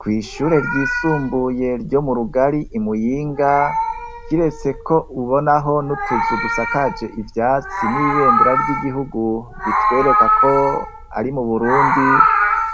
Kw'ishure ryisumbuye ryo mu Rugari kiretse ko ubonaho n'utuzu dusakaje ivyatsi n'ibendera ry'igihugu bitwereka ko ari mu Burundi,